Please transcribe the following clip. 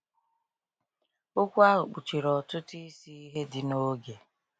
Okwu ahụ kpuchiri ọtụtụ isi ihe dị n’oge.